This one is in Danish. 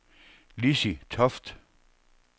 Lizzi Toft